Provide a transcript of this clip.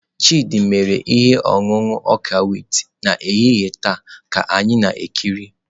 Chidị mere ihe ọṅụṅụ ọka wit n'ehihie taa ka anyị na-ekiri.